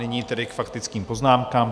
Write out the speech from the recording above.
Nyní tedy k faktickým poznámkám.